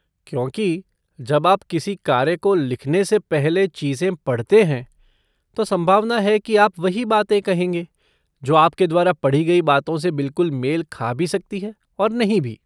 क्योंकि जब आप किसी कार्य को लिखने से पहले चीजें पढ़ते हैं, तो संभावना है कि आप वही बातें कहेंगे, जो आपके द्वारा पढ़ी गई बातों से बिल्कुल मेल खा भी सकती है और नहीं भी।